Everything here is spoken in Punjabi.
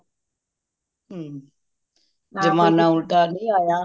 ਹੱਮ ਜਮਨਾ ਉਲਟਾ ਨਹੀਂ ਆਯਾ